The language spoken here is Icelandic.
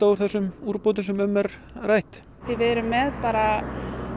úr þessum úrbótum sem um er rætt við erum með bara